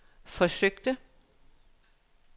forsøgte